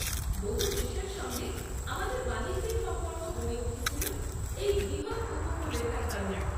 বহু দেশের সঙ্গে আমাদের বাণিজ্যিক সম্পর্ক গড়ে উঠেছিল এই বৃহৎ উপকূলরেখার কারণে।